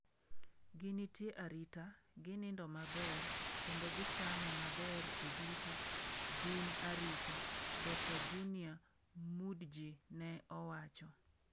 ""Ginitie arita, ginindo maber kendo gichamo maber e duto, gin arita," Dr Junior Mudji ne owacho.